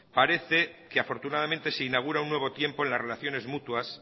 parece que afortunadamente se inaugura un nuevo tiempo en las relaciones mutuas